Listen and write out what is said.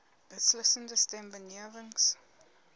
beslissende stem benewens